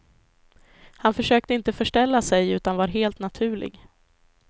Han försökte inte förställa sig utan var helt naturlig.